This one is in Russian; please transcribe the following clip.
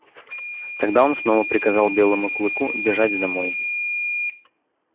тогда он снова приказал белому клыку бежать домой